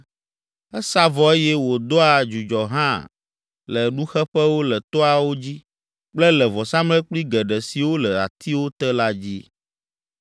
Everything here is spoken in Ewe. Esa vɔ eye wòdoa dzudzɔ hã le nuxeƒewo le toawo dzi kple le vɔsamlekpui geɖe siwo le atiwo te la dzi.